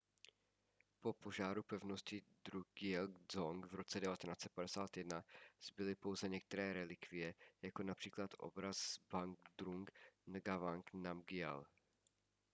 po požáru pevnosti drukgyel dzong v roce 1951 zbyly pouze některé relikvie jako například obraz zhabdrung ngawang namgyal